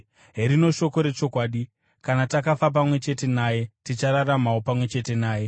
Herino shoko rechokwadi: Kana takafa pamwe chete naye, tichararamawo pamwe chete naye;